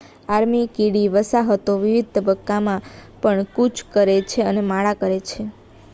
army કીડી વસાહતો વિવિધ તબક્કામાં પણ કૂચ કરે છે અને માળા પણ કરે